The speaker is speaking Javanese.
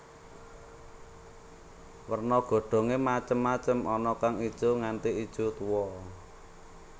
Werna godhongé macem macem ana kang ijo nganti ijo tuwa